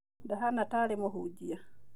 Ndahana ta arĩ mũhunjia